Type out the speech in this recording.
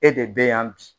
E de bɛ yan bi